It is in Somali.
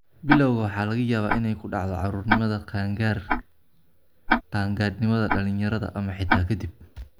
Bilawga waxa laga yaabaa inay ku dhacdo caruurnimada, qaan-gaarka, qaangaadhnimada dhalinyarada, ama xitaa ka dib.